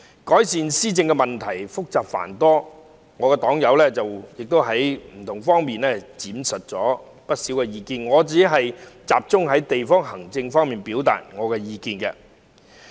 改善施政問題複雜繁多，我的黨友在不同方面闡述了不少意見，我會集中在地區行政方面表達我的意見。